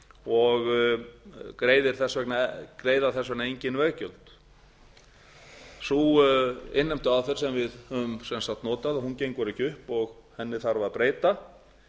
og greiða þess vegna engin veggjöld sú innheimtuaðferð sem við höfum sem sagt notað gengur ekki upp og henni þarf að breyta